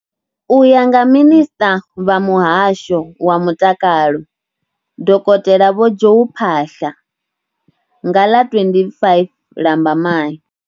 U ya nga minisṱa vha muhasho wa mutakalo, dokotela vho Joe Phaahla, nga ḽa 25 Lambamai.